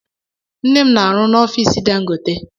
Nne m na-arụ n'ofici Dangote.